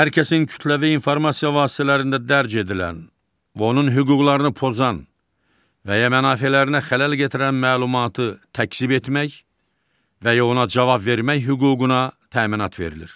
Hər kəsin kütləvi informasiya vasitələrində dərc edilən və onun hüquqlarını pozan və ya mənafelərinə xələl gətirən məlumatı təkzib etmək və ya ona cavab vermək hüququna təminat verilir.